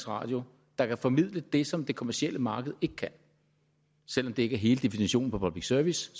radio der kan formidle det som det kommercielle marked ikke kan selv om det ikke er hele definitionen på public service